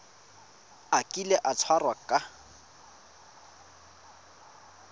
a kile a tshwarwa ka